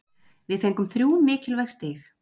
Við fengum þrjú mikilvæg stig.